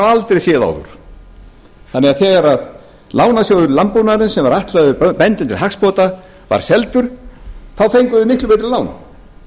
aldrei séð áður þannig að þegar lánasjóður landbúnaðarins sem var ætlaður bændum til hagsbóta var seldur þá fengu þeir miklu betri lán